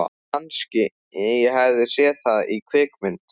Kannski ég hafi séð það í kvikmynd.